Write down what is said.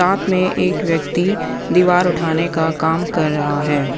साथ में एक व्यक्ति दीवार उठाने का काम कर रहा हैं।